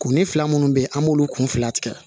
Kunni fila minnu bɛ yen an b'olu kun fila tigɛ